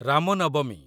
ରାମ ନବମୀ